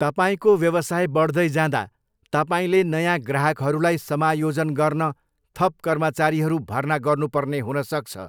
तपाईँको व्यवसाय बढ्दै जाँदा, तपाईँले नयाँ ग्राहकहरूलाई समायोजन गर्न थप कर्मचारीहरू भर्ना गर्नुपर्ने हुन सक्छ।